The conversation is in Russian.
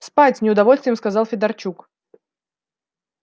спать с неудовольствием сказал федорчук